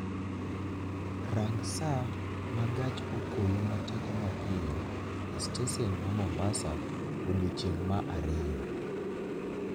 Rang' saa ma gach okoloma teko mapiyo e stesen ma mombasa odiechieng' ma ariyo